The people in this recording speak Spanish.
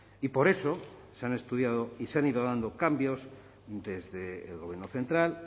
y por eso se han estudiado y se han ido dando cambios desde el gobierno central